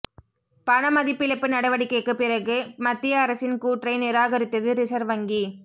பணமதிப்பிழப்பு நடவடிக்கைக்கு பிறகு மத்திய அரசின் கூற்றை நிராகரித்தது ரிசர்வ் வங்கி